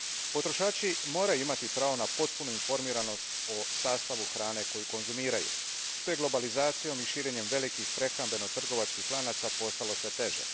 Potrošači moraju imati pravo na potpunu informiranost o sastavu hrane koju konzumiraju što je globalizacijom i širenjem velikih prehrambeno trgovačkih lanaca postalo sve teže.